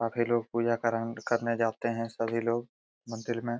काफी लोग पूजा करान करने जाते हैं सभी लोग मंदिर में |